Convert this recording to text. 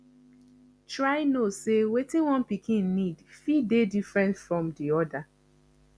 try know sey wetin one pikin need fit dey different from di oda